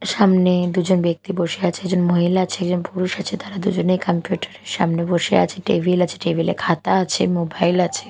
সামনে দুজন ব্যক্তি বসে আছে একজন মহিলা আছে একজন পুরুষ আছে তারা দুজনে কম্পিউটার -এর সামনে বসে আছে টেবিল আছে টেবিল -এ খাতা আছে মোবাইল আছে।